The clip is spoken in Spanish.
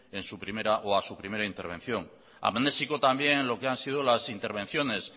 a su primera intervención amnésico también en lo que han sido las intervenciones